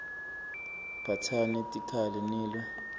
phatsani tikhali nilwe